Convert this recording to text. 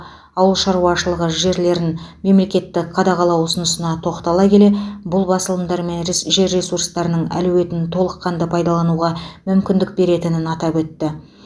ауыл шаруашылығы жерлерін мемлекеттік қадағалау ұсынысына тоқтала келе бұл басылымдар мен жер ресурстарының әлеуетін толыққанды пайдалануға мүмкіндік беретінін атап өтті